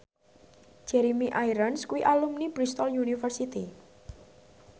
Jeremy Irons kuwi alumni Bristol university